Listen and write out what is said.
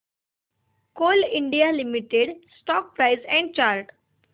Coal India Limited stock price and chart